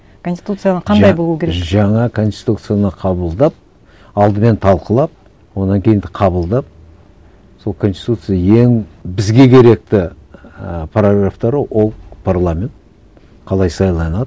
конституцияны қандай жаңа конституцияны қабылдап алдымен талқылап одан кейін қабылдап сол конституция ең бізге керекті ііі прорывтары ол парламент қалай сайланады